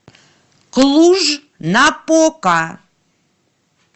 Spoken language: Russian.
клуж напока